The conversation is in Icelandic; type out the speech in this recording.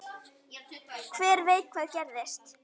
Hver veit hvað gerist?